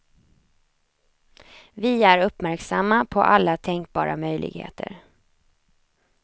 Vi är uppmärksamma på alla tänkbara möjligheter.